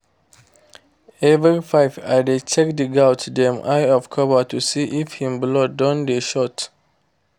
every five i dey check the goat's dem eye of cover to see if en blood don dey short